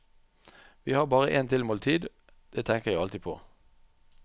Vi har bare en tilmålt tid, det tenker jeg alltid på.